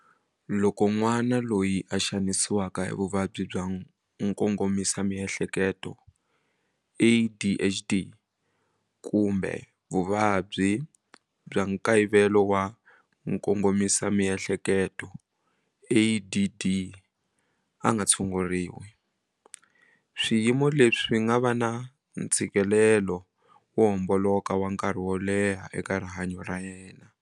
Loko n'wana loyi a xanisiwaka hi vuvabyi bya mkongomisamiehleketo, ADHD, kumbe vuvabyi bya nkayivelo wa nkongomisamiehleketo, ADD, a nga tshunguriwi, swiyimo leswi swi nga va na ntshikelelo wo homboloka wa nkarhi wo leha eka rihanyo ra yena.